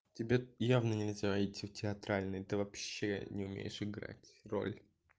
тебе явно нельзя идти в театральный ты вообще не умеешь играть роль